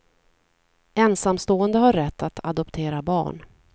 Ensamstående har rätt att adoptera barn.